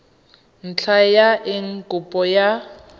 ntlha ya eng kopo ya